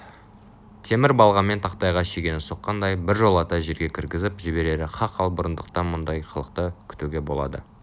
темір балғамен тақтайға шегені соққандай біржолата жерге кіргізіп жіберері хақ ал бұрындықтан мұндай қылықты күтуге болады